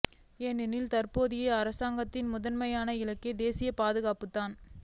எனினும் தற்போதைய அரசாங்கத்தின் முதன்மையான இலக்கு தேசிய பாதுகாப்பு தான்